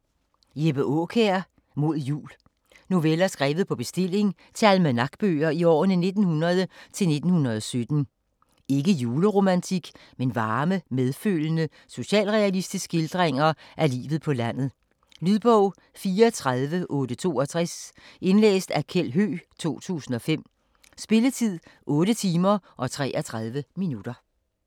Aakjær, Jeppe: Mod Jul Noveller skrevet på bestilling til almanakbøger i årene 1900 til 1917. Ikke juleromantik, men varme, medfølende socialrealistiske skildringer af livet på landet. Lydbog 34862 Indlæst af Kjeld Høegh, 2005. Spilletid: 8 timer, 33 minutter.